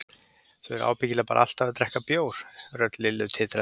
Þau eru ábyggilega bara alltaf að drekka bjór, rödd Lillu titraði.